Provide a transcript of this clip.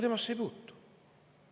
Temasse ei puutu!